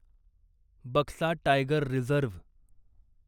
Buxa tiger reserve